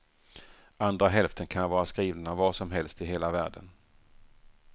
Andra hälften kan vara skrivna var som helst i hela världen.